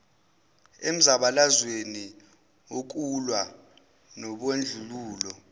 emzabalazweni wokulwa nobandlululo